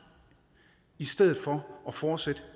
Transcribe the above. i stedet for at fortsætte